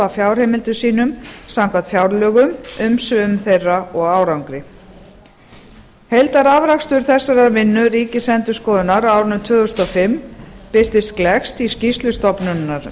fjárheimildum sínum samkvæmt fjárlögum umsvifum þeirra og árangri heildarafrakstur þessarar vinnu ríkisendurskoðunar á árinu tvö þúsund og fimm birtist gleggst í skýrslu